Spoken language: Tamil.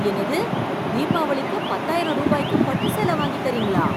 என்னது தீபவளிக்கு பத்தாயிரம் ரூபாய்க்கு பட்டு சேல வாங்கி தரீங்களா?